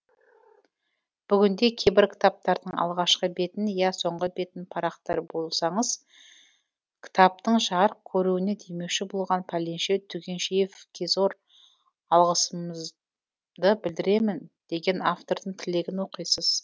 бүгінде кейбір кітаптардың алғашқы бетін я соңғы бетін парақтар болсаңыз кітаптың жарық көруіне демеуші болған пәленше түгеншеевкезор алғыс ымды білдіремін деген автордың тілегін оқисыз